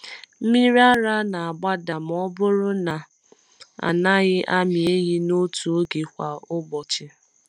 Mmiri ara na-agbada ma ọ bụrụ na a naghị amị ehi n’otu oge kwa ụbọchị.